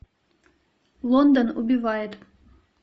лондон убивает